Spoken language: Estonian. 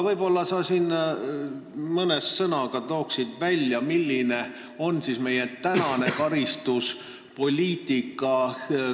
Võib-olla sa mõne sõnaga selgitad, milline on siis meie praegune karistuspoliitika.